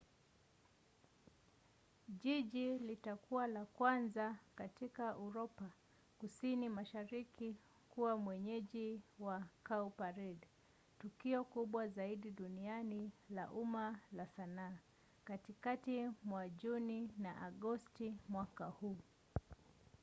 jiji litakuwa la kwanza katika uropa kusini mashariki kuwa mwenyeji wa cowparade tukio kubwa zaidi duniani la umma la sanaa katikati mwa juni na agosti mwaka huu